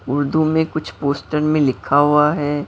उर्दू में कुछ पोस्टर में लिखा हुआ है।